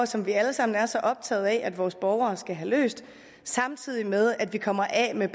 som vi alle sammen er så optagede af at vores borgere skal have løst samtidig med at vi kommer af med